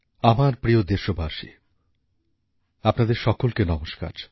আমার প্রিয় দেশবাসী আপনাদের সকলকে নমস্কার